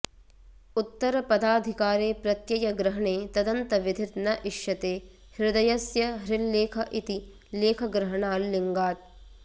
उत्तरपदाधिकारे प्रत्ययग्रहणे तदन्तविधिर् न इष्यते हृदयस्य हृल्लेख इति लेखग्रहणाल् लिङ्गात्